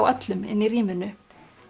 öllum í rýminu